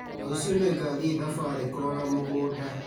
Rũciũ nĩngathiĩ thabarĩ kũrora mũgũnda